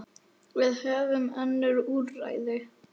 Við höfum önnur úrræði.